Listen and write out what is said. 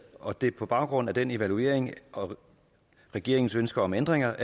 og det er på baggrund af den evaluering og regeringens ønske om ændringer